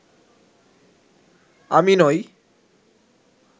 আমি নই